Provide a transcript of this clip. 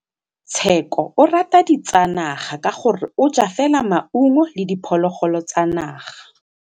Tshekô o rata ditsanaga ka gore o ja fela maungo le diphologolo tsa naga.